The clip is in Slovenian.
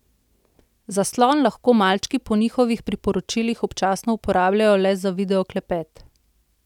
Zaslon lahko malčki po njihovih priporočilih občasno uporabljajo le za video klepet.